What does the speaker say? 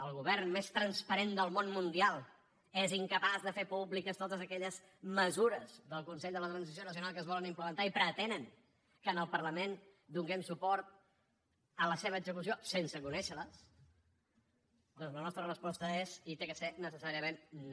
el govern més transparent del món mundial és incapaç de fer públiques totes aquelles mesures del consell de la transició nacional que es volen implementar i pretenen que al parlament donem suport a la seva execució sense conèixer les doncs la nostra resposta és i ha de ser necessàriament no